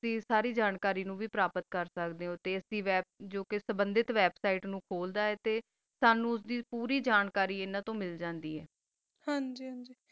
ਗ ਸਾਰੀ ਜਾਨ ਕਰੀ ਮਿਲ ਜਯਾ ਗੀ ਅਸੀਂ website ਹੋਰ ਕਰ ਕਾ ਸਨੋ ਪੋਰੀ ਜਾਂ ਕਰੀ ਆਸ ਤੋ ਮਿਲ ਸਕਦੀ ਆ ਹਨ ਜੀ